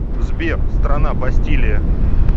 сбер страна бастилия